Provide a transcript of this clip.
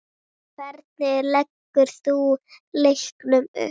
Hvernig leggur þú leikinn upp?